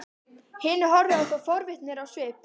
Hinir horfðu á þá forvitnir á svip.